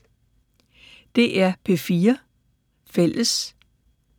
DR P4 Fælles